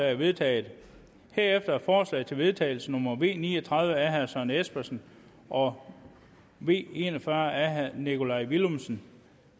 er vedtaget herefter er forslag til vedtagelse nummer v ni og tredive af søren espersen og v en og fyrre af nikolaj villumsen